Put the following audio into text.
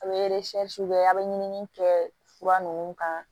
A bɛ kɛ a bɛ ɲinini kɛ fura ninnu kan